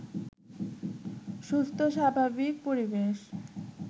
সুস্থ স্বাভাবিক পরিবেশ